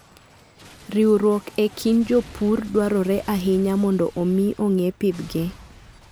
Riwruok e kind jopur dwarore ahinya mondo omi ong'e pidhgi.